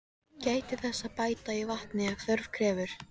Gætið þess að bæta í vatni ef þörf krefur.